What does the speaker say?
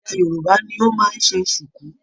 Ẹyà Yorùbá ní o máa n se sùkú.